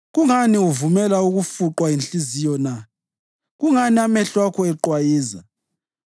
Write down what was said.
Kungani uvumela ukufuqwa yinhliziyo na, kungani amehlo akho eqwayiza,